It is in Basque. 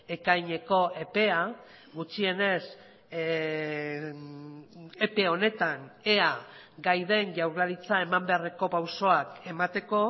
ekaineko epea gutxienez epe honetan ea gai den jaurlaritza eman beharreko pausoak emateko